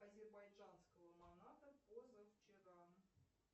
азербайджанского маната позавчера